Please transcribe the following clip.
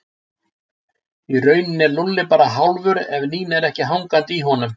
Í rauninni er Lúlli bara hálfur ef Nína er ekki hangandi á honum